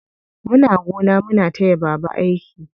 Muna gona muna taya baba aiki.